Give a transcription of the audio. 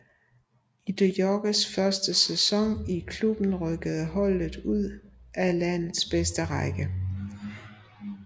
I de Jongs første sæson i klubben rykkede holdet ud af landets bedste række